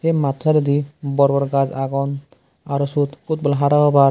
say mattu sidedodi bor gaj agon aro sot football hara hobar.